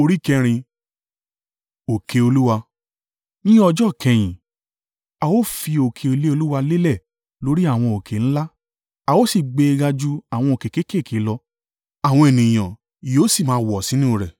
Ní ọjọ́ ìkẹyìn a ó fi òkè ilé Olúwa lélẹ̀ lórí àwọn òkè ńlá, a ó sì gbé e ga ju àwọn òkè kéékèèké lọ, àwọn ènìyàn yóò sì máa wọ̀ sínú rẹ̀.